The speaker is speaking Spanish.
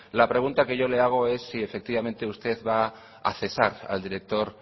la pregunta que yo le haga es si efectivamente usted va a cesar al director